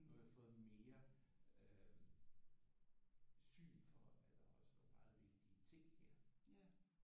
Nu har jeg fået mere øh syn for at der også er meget vigtige ting her